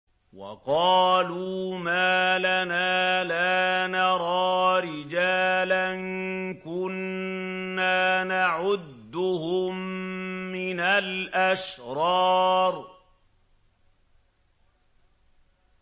وَقَالُوا مَا لَنَا لَا نَرَىٰ رِجَالًا كُنَّا نَعُدُّهُم مِّنَ الْأَشْرَارِ